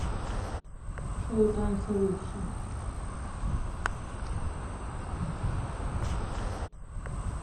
шоу танцы лучшее